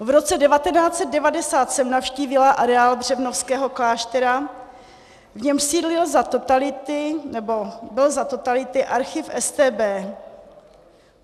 V roce 1990 jsem navštívila areál Břevnovského kláštera, v němž sídlil za totality, nebo byl za totality archiv StB.